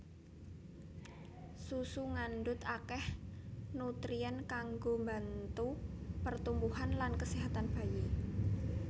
Susu ngandhut akèh nutrien kanggo mbantu pertumbuhan lan kaséhatan bayi